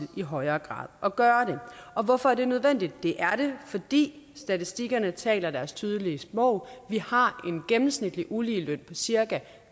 i højere grad at gøre det og hvorfor er det nødvendigt det er det fordi statistikkerne taler deres tydelige sprog vi har en gennemsnitlig uligeløn på cirka